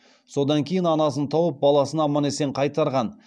содан кейін анасын тауып баласын аман есен қайтарған